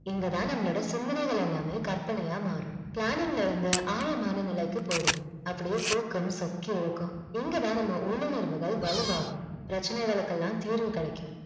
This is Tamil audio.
இங்க தான் நம்மலுடைய சிந்தனைகள் எல்லாமே கற்பனையா மாரும் planning ல இருந்து ஆழமான நிலைக்கு போய்டுவோம் அப்படியே தூக்கம் சொக்கி இழுக்கும் இங்க தான் நம்ம உள்உணர்வுகள் வளுவாகும் பிரச்சனைகளுக்கெல்லாம் தீர்வு கெடைக்கும்